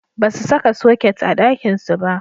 Basu saka soket a ɗakinsu ba.